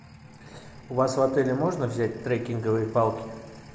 у вас в отеле можно взять трекинговые палки